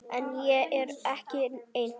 En ég er ekki einn.